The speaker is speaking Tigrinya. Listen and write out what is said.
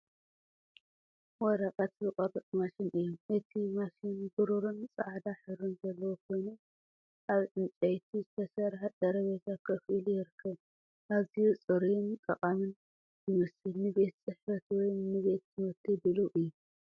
ወረቐት ዝቖርጽ ማሽን እዩ። እቲ ማሽን ብሩርን ጻዕዳን ሕብሪ ዘለዎ ኮይኑ፡ ኣብ ዕንጨይቲ ዝተሰርሐ ጠረጴዛ ኮፍ ኢሉ ይርከብ። ኣዝዩ ጽሩይን ጠቓምን ይመስል፣ ንቤት ጽሕፈት ወይ ንቤት ትምህርቲ ድሉው እዩ።